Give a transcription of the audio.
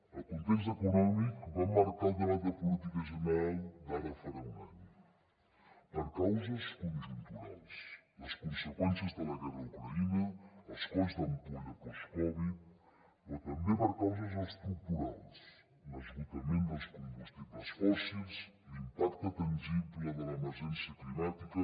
el context econòmic va marcar el debat de política general d’ara farà un any per causes conjunturals les conseqüències de la guerra d’ucraïna els colls d’ampolla postcovid però també per causes estructurals l’esgotament dels combustibles fòssils l’impacte tangible de l’emergència climàtica